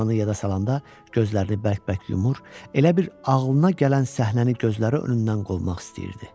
Bu anı yada salanda gözlərini bərk-bərk yumur, elə bil ağlına gələn səhnəni gözləri önündən qovmaq istəyirdi.